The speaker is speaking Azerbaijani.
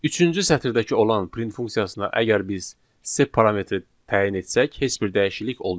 Üçüncü sətirdəki olan print funksiyasına əgər biz sep parametri təyin etsək, heç bir dəyişiklik olmayacaq.